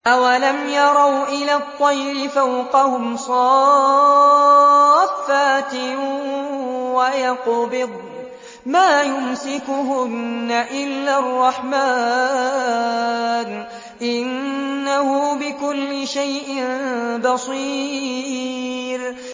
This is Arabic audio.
أَوَلَمْ يَرَوْا إِلَى الطَّيْرِ فَوْقَهُمْ صَافَّاتٍ وَيَقْبِضْنَ ۚ مَا يُمْسِكُهُنَّ إِلَّا الرَّحْمَٰنُ ۚ إِنَّهُ بِكُلِّ شَيْءٍ بَصِيرٌ